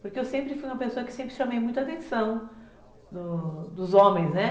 Porque eu sempre fui uma pessoa que sempre chamei muita atenção do dos homens, né?